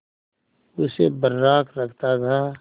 उसे बर्राक रखता था